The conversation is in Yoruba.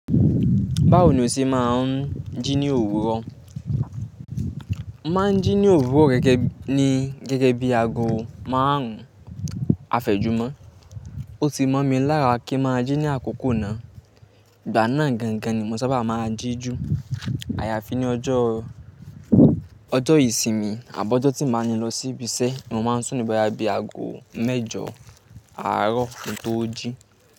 Báwo ni o ṣe máa ń jí ní òwúrọ̀? Máa ń jí ní òwúrọ̀ gẹ́gẹ́ ní gẹ́gẹ́ bí aago márùn-ún afẹ́jùmọ́. Ó ti mọ̀ mi lára kí máa jí ní àkókò náà. Ìgbà náà gangan ni mo sábà máa ń jí ju. Àyàfi ní ọjọ́, ọjọ́ ìsinmi àbi ọ́jọ́ tí mi o ni lọ sí ibi iṣẹ́ ni mo máa ń sùn dí boya bi aago mẹ́jọ àárọ̀ kí n tó jí.